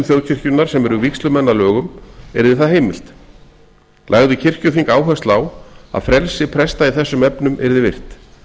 þjóðkirkjunnar sem eru vígslumenn að lögum yrði það heimilt lagði kirkjuþing áherslu á að frelsi presta í þessum efnum yrði virt